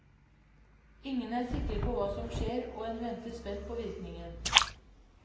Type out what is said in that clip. Ingen er sikre på hva som skjer og en venter spent på virkningen.